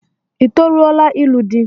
I toruola ilu di?